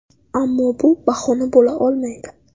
Ammo bu bahona bo‘la olmaydi.